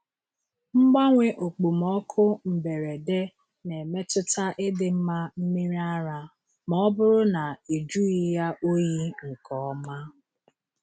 Mgbanwe okpomọkụ mberede na-emetụta ịdị mma mmiri ara ma ọ bụrụ na ejughị ya oyi nke ọma.